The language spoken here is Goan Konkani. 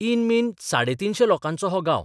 इन मीन साडे तीनशें लोकांचो हो गांव.